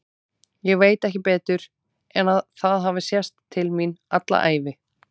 Ég veit ekki betur en að það hafi sést til mín alla ævi.